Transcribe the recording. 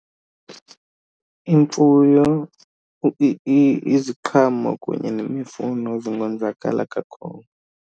Imfuyo, iziqhamo kunye nemifuno zingonzakala kakhulu.